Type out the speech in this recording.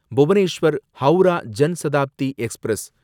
Bhubaneswar Howrah Jan Shatabdi express